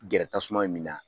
Gɛrɛ tasuma me min na